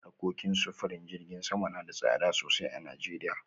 Harkokin sufurin jiragen sama na da tsada sosai a Najeriya